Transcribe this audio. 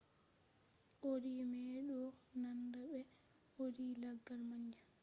audi mai do nanda be audi laggal manja